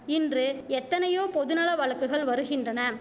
இன்று எத்தனையோ பொது நல வழக்குகள் வருகின்றன